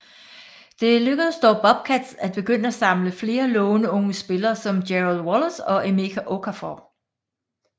Det lykkedes dog Bobcats at begynde at samle flere lovende unge spillere som Gerald Wallace og Emeka Okafor